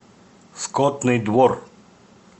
скотный двор